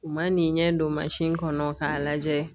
U ma n'i ɲɛ don kɔnɔ k'a lajɛ